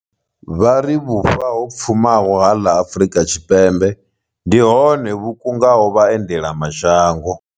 Vha ri vhufa ho pfumaho ha ḽa Afrika Tshipembe ndi hone hu kungaho vhaendela ma shango.